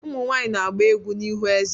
Umu nwaanyị na-agba egwú n'ihu eze.